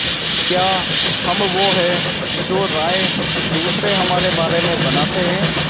क्या हम वो हैं जो राय दूसरे हमारे बारे में बनाते हैं